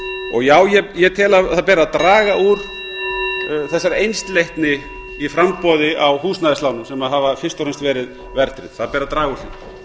stjórnarskrárákvæði já ég tel að það beri að draga úr þessari einsleitni í framboði á húsnæðislánum sem hafa fyrst og fremst verið verðtryggð það ber að draga úr